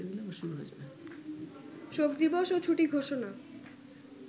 শোকদিবস ও ছুটি ঘোষণা